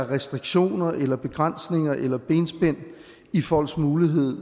restriktioner eller begrænsninger i folks mulighed